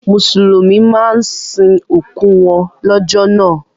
Mùsùlùmí máa ń sin òkú wọn lọ́jọ́ náà